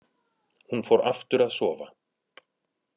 Hún fór aftur að sofa.